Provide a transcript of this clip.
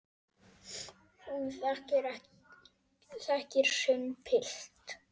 Hún þekkir sinn pilt.